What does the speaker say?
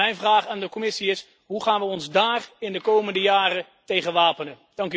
Mijn vraag aan de Commissie is hoe gaan we ons daar in de komende jaren tegen wapenen?